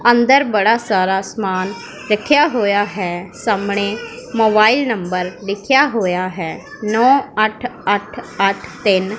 ਅੰਦਰ ਬੜਾ ਸਾਰਾ ਸਮਾਨ ਰੱਖਿਆ ਹੋਇਆ ਹੈ ਸਾਹਮਣੇ ਮੋਬਾਈਲ ਨੰਬਰ ਲਿਖਿਆ ਹੋਇਆ ਹੈ ਨੋ ਅੱਠ ਅੱਠ ਅੱਠ ਤਿੰਨ।